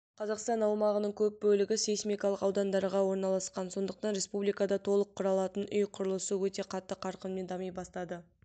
қазақстан аумағының көп бөлігі сейсмикалық аудандарда орналасқан сондықтан республикада толық құралатын үй құрылысы өте қатты қарқынмен дами бастады